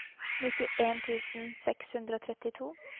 nittien tusen seks hundre og trettito